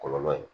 Kɔlɔlɔ ye